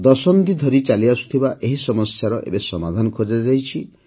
ଦଶନ୍ଧି ଧରି ଚାଲିଆସୁଥିବା ଏହି ସମସ୍ୟାର ଏବେ ସମାଧାନ ଖୋଜାଯାଇଛି